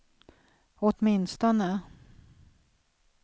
åtminstone